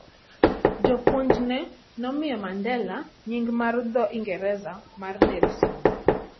Japuonjne nomiyo Mandela nying ' mar dho Ingresa mar "Nelson".